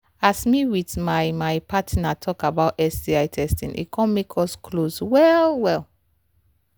as me with my my partner talk about sti testing e come make us close well well